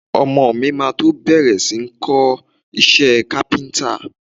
Ọmọọ̀ mi máa tó bẹ̀rẹ̀ si ní ń kọ iṣẹ́ Kápẹ́ńtà.